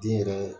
Den yɛrɛ